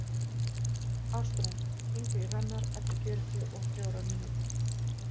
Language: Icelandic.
Ástrún, hringdu í Hrannar eftir fjörutíu og fjórar mínútur.